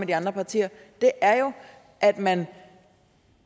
de andre partier er jo at man